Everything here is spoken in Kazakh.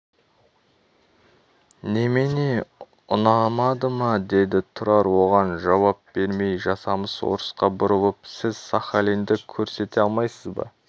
немене ұнамады ма деді тұрар оған жауап бермей жасамыс орысқа бұрылып сіз сахалинді көрсете алмайсыз ба